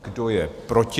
Kdo je proti?